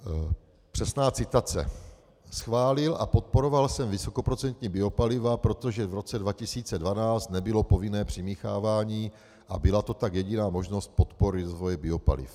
Přesná citace: "Schválil a podporoval jsem vysokoprocentní biopaliva, protože v roce 2012 nebylo povinné přimíchávání a byla to tak jediná možnost podpory rozvoje biopaliv."